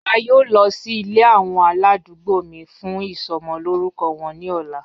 A yoo lọ si ile awọn aladugbo mi fun isomo lorukọ wọn ni ọla.